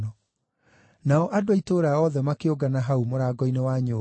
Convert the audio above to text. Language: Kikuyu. Nao andũ a itũũra othe makĩũngana hau mũrango-inĩ wa nyũmba,